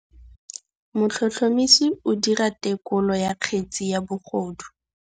Motlhotlhomisi o dira têkolô ya kgetse ya bogodu.